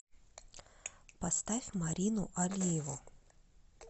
поставь марину алиеву